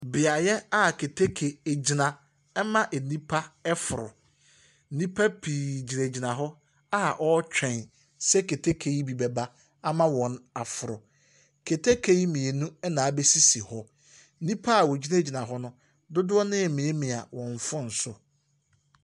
Beaeɛ a keteke gyina ma nnipa reforo. Nnipa pii gyinagyina hɔ a wɔretwɛn sɛ keteke yi bɛba ama wɔaforo. Keteke yi mmienu na abɛsisi hɔ. Nnipa a wɔgyinagyina hɔ no, dodoɔ no ara remiamia wɔn phone so.